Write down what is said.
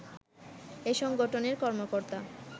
এই সংগঠনের কর্মকর্তা